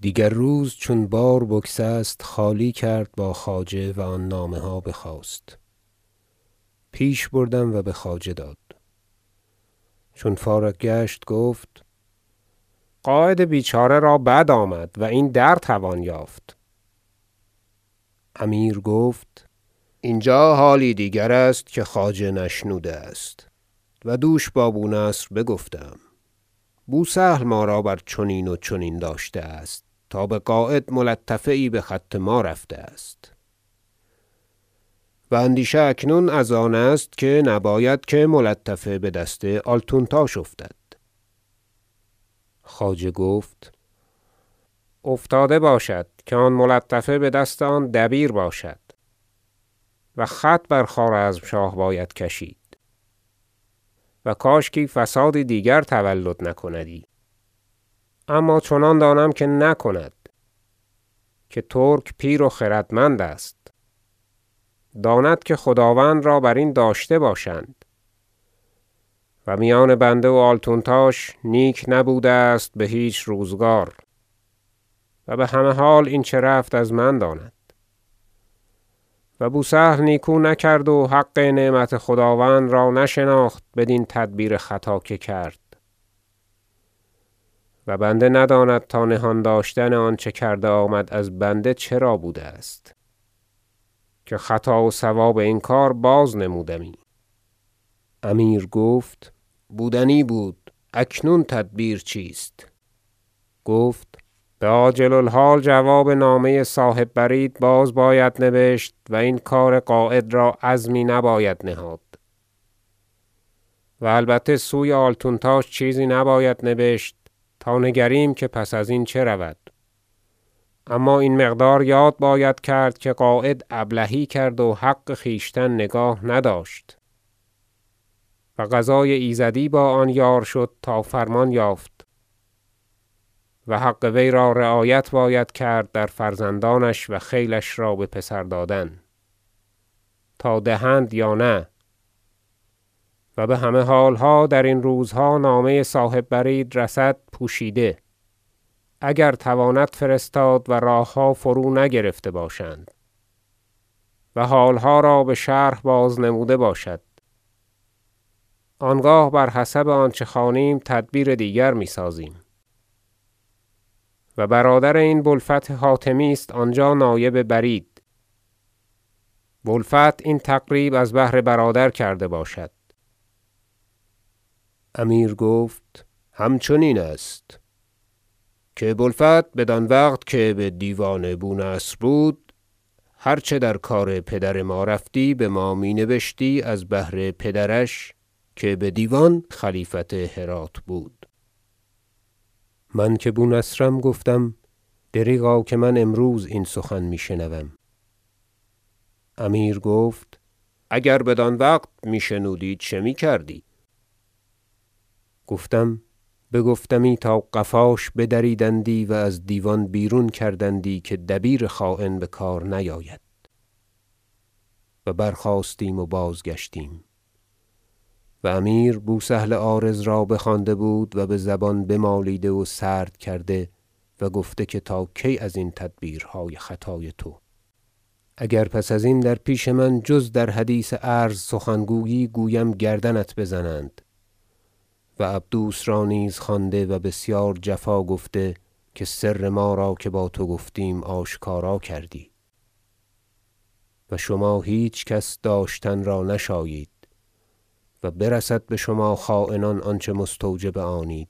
دیگر روز چون بار بگسست خالی کرد با خواجه و آن نامه ها بخواست پیش بردم و بخواجه داد چون فارغ گشت گفت قاید بیچاره را بد آمد و این را در توان یافت امیر گفت اینجا حالی دیگرست که خواجه نشنوده است و دوش با بونصر بگفته ام بوسهل ما را بر چنین و چنین داشته است تا بقاید ملطفه یی بخط ما رفته است و اندیشه اکنون از آن است که نباید که ملطفه بدست آلتونتاش افتد خواجه گفت افتاده باشد که آن ملطفه بدست آن دبیر باشد و خط بر خوارزمشاه باید کشید و کاشکی فسادی دیگر تولد نکندی اما چنان دانم که نکند که ترک پیر و خردمند است داند که خداوند را بر این داشته باشند و میان بنده و آلتونتاش نیک نبوده است بهیچ روزگار و بهمه حال این چه رفت از من داند و بوسهل نیکو نکرد و حق نعمت خداوند را نشناخت بدین تدبیر خطا که کرد و بنده نداند تا نهان داشتن آنچه کرده آمد از بنده چرا بوده است که خطا و صواب این کار بازنمودمی امیر گفت بودنی بود اکنون تدبیر چیست گفت بعاجل- الحال جواب نامه صاحب برید باز باید نبشت و این کار قاید را عظمی نباید نهاد و البته سوی آلتونتاش چیزی نباید نبشت تا نگریم که پس ازین چه رود اما این مقدار یاد باید کرد که قاید ابلهی کرد و حق خویشتن نگاه نداشت و قضای ایزدی با آن یار شد تا فرمان یافت و حق وی را رعایت باید کرد در فرزندانش و خیلش را بپسر دادن تا دهند یا نه و بهمه حالها درین روزها نامه صاحب برید رسد پوشیده اگر تواند فرستاد و راهها فرو نگرفته باشند و حالها را بشرح بازنموده باشد آنگاه بر حسب آنچه خوانیم تدبیر دیگر میسازیم و برادر این ابو الفتح حاتمی است آنجا نایب برید بوالفتح این تقریب از بهر برادر کرده باشد امیر گفت همچنین است که بو الفتح بدان وقت که بدیوان بونصر بود هر چه در کار پدر ما رفتی بما می نبشتی از بهر پدرش که بدیوان خلیفت هرات بود من که بونصرم گفتم دریغا که من امروز این سخن میشنوم امیر گفت اگر بدان وقت می شنودی چه میکردی گفتم بگفتمی تا قفاش بدریدندی و از دیوان بیرون کردندی که دبیر خاین بکار نیاید و برخاستیم و بازگشتیم و امیر بوسهل عارض را بخوانده بود و بزبان بمالیده و سرد کرده و گفته که تا کی ازین تدبیرهای خطای تو اگر پس ازین در پیش من جز در حدیث عرض سخن گویی گویم گردنت بزنند و عبدوس را نیز خوانده و بسیار جفا گفته که سر ما را که با تو گفتیم آشکارا کردی و شما هیچ کس سر داشتن را نشایید و برسد بشما خاینان آنچه مستوجب آنید